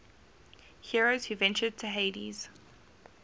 heroes who ventured to hades